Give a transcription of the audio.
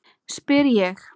spyr ég.